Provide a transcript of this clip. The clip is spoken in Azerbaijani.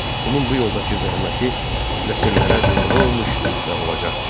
Onun bu yoldakı zəhməti nəsillərə nümunə olmuş və olacaqdır.